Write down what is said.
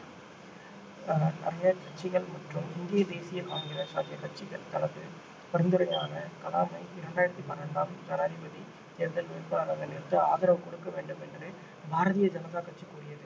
ஆஹ் மற்றும் இந்திய தேசிய காங்கிரஸ் ஆகிய கட்சிகள் தனது பரிந்துரையான கலாமை இரண்டாயிரத்தி பன்னிரண்டாம் ஜனாதிபதி தேர்தல் வேட்பாளராக நிறுத்த ஆதரவு கொடுக்க வேண்டும் என்று பாரதிய ஜனதா கட்சி கூறியது